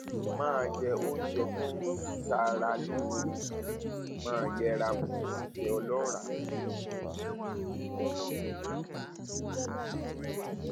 máa jẹ oúnjẹ tó ń oúnjẹ tó ń ṣara lóore sì máa yẹra fún oúnjẹ ọlọràá